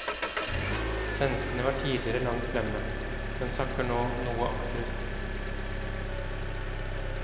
Svenskene var tidligere langt fremme, men sakker nå noe akterut.